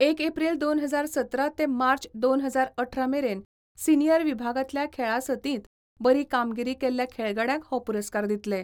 एक एप्रील दोन हजार सतरा ते मार्च दोन हजार अठरा मेरेन सिनीयर विभागांतल्या खेळां सर्तींत बरी कामगिरी केल्ल्या खेळगड्यांक हो पुरस्कार दितले.